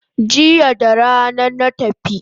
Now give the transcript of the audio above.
Jiya rana na tafi